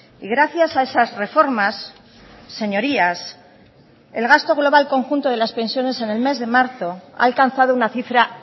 y gracias a esas reformas señorías el gasto global conjunto de las pensiones en el mes de marzo ha alcanzado una cifra